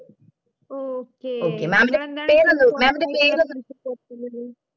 okay